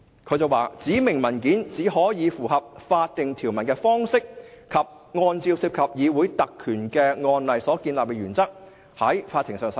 他表示："指明文件只可以符合法定條文的方式及按照涉及議會特權的案例所建立的原則，在法庭上使用。